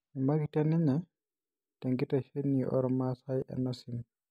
Eimakita ninye tenkitesheni ormasai enosim.